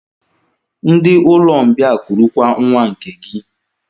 Ndị Ụlọmbịa kurukwa nwa nke gị!